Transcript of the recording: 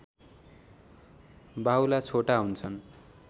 बाहुला छोटा हुन्छन्